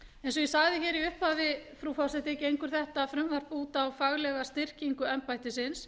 eins og ég sagði í upphafi frú forseti gengur þetta frumvarp út á faglega styrkingu embættisins